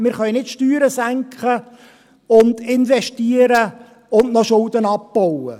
Wir können nicht die Steuern senken und investieren und noch Schulden abbauen.